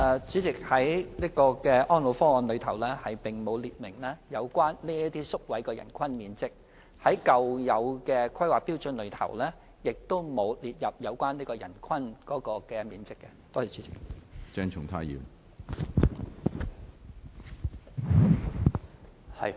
主席，《安老方案》並無列明這些宿位的人均面積要求，舊有的《規劃標準》亦無列明有關的人均面積要求。